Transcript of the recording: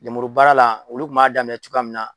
Lemuru baara la olu kun b'a daminɛ cogoya min na.